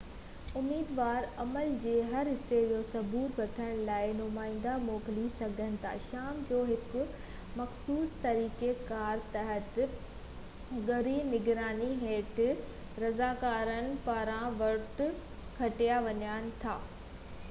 اميدوار عمل جي هر حصي جو ثبوت وٺڻ لاءِ نمائيندا موڪلي سگهن ٿا شام جو هڪ مخصوص طريقي ڪار تحت ڳري نگراني هيٺ رضاڪارن پاران ووٽ ڳڻيا وڃن ٿا